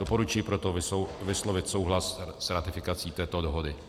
Doporučuji proto vyslovit souhlas s ratifikací této dohody.